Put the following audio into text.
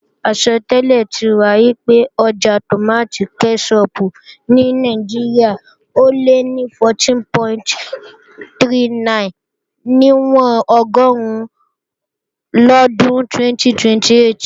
Àsọtẹ́lẹ̀ ti wà pé ọjà tòmátì kẹ́ṣọpù ní Nàìjíríà ò lé ní 14.39 níwọ̀n ọgọ́run lọ́dún 2028